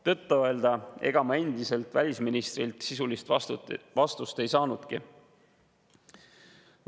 Tõtt-öelda ega ma endiselt välisministrilt sisulist vastust ei saanudki.